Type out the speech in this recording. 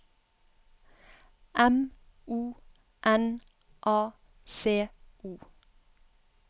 M O N A C O